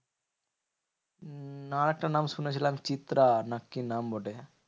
না আরেকটা নাম শুনেছিলাম চিত্রা না কি নাম বটে?